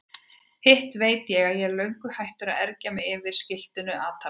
Hitt veit ég að ég er löngu hættur að ergja mig yfir skiltinu atarna.